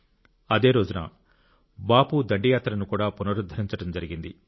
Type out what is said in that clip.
అదే రోజున బాపు దండి యాత్రను కూడా పునరుద్ధరించడం జరిగింది